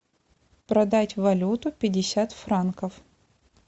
продать валюту пятьдесят франков